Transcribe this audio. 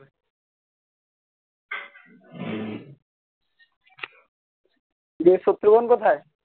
কোথায়